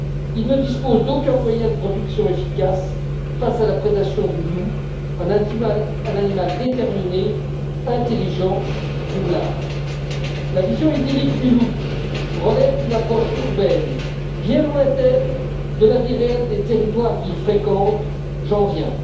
Ils ne disposent d'aucun moyen de protection efficace face à la prédation du loup, animal déterminé, intelligent et roublard. La vision idyllique du loup relève d'une approche urbaine bien lointaine de la vie réelle des territoires qu'il fréquente. J'en viens.